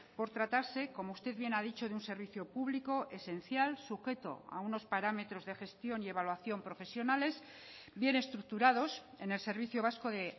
por tratarse como usted bien ha dicho de un servicio público esencial sujeto a unos parámetros de gestión y evaluación profesionales bien estructurados en el servicio vasco de